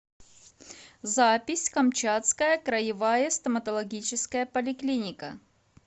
запись камчатская краевая стоматологическая поликлиника